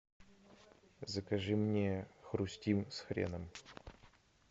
закажи мне хрустим с хреном